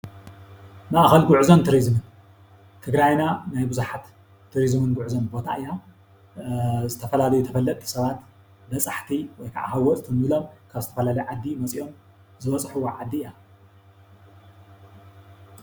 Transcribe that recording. ማእከል ጉዕዞን ቱሪዝምን፡- ትግራይና ናይ ቡዙሓት ቱሪዝምን ጉዕዞን ቦታ እያ፡፡ ዝተፈላለዩ ተፈለጥቲ ሰባት በፃሕቲ ወይ ከዓ ሃወፅቲ እንብሎም ካብ ዝተፈላለዩ ዓዲ መፅኦም ዝበፅሕዋ ዓዲ እያ፡፡